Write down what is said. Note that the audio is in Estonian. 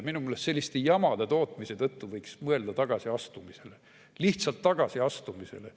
Minu meelest selliste jamade tootmise tõttu võiks mõelda tagasiastumisele, lihtsalt tagasiastumisele.